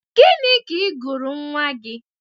Gịnị ka ị gụrụ nwa gị?